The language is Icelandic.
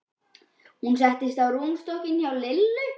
Hún settist á rúmstokkinn hjá Lillu.